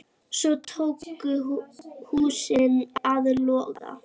Svo tóku húsin að loga.